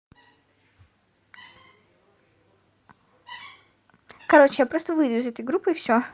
короче я просто выйду из этой группы и всё